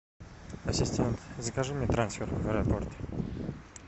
ассистент закажи мне трансфер в аэропорт